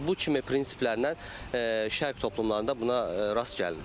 Bu bu kimi prinsiplər nə, şərq toplumlarda buna rast gəlinir.